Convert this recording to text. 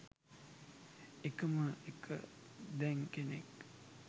එකම එක දැන් කෙනෙක්